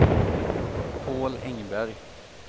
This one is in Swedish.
Paul Engberg